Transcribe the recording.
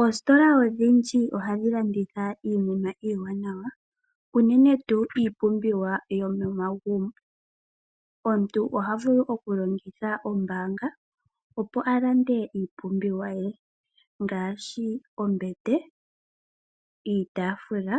Oositola odhindji ohadhi landitha iinima iiwanawa. Unene tuu iipumbiwa yomomagumbo. Omuntu oha vulu oku longitha ombaanga opo alande iipumbiwa ye. Ngaashi ombete, iitaafula